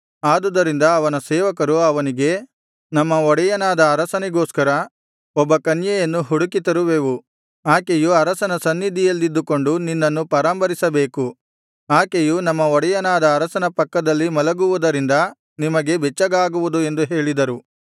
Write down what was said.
ಆದುದರಿಂದ ಅವನ ಸೇವಕರು ಅವನಿಗೆ ನಮ್ಮ ಒಡೆಯನಾದ ಅರಸನಿಗೋಸ್ಕರ ಒಬ್ಬ ಕನ್ಯೆಯನ್ನು ಹುಡುಕಿತರುವೆವು ಆಕೆಯು ಅರಸನ ಸನ್ನಿಧಿಯಲ್ಲಿದ್ದುಕೊಂಡು ನಿನ್ನನ್ನು ಪರಾಂಬರಿಸಬೇಕು ಆಕೆಯು ನಮ್ಮ ಒಡೆಯನಾದ ಅರಸನ ಪಕ್ಕದಲ್ಲಿ ಮಲಗುವುದರಿಂದ ನಿಮಗೆ ಬೆಚ್ಚಗಾಗುವುದು ಎಂದು ಹೇಳಿದರು